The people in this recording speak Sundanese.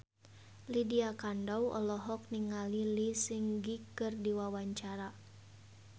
Lydia Kandou olohok ningali Lee Seung Gi keur diwawancara